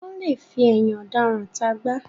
Wọ́n lè fi ẹ̀yìn ọ̀daràn ta àgbá